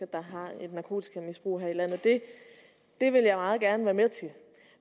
der har et narkotikamisbrug det vil jeg meget gerne være med til